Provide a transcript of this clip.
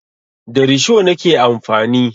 Da risho nake amfani.